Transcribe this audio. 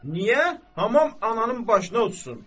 Niyə hamam ananın başına uçsun?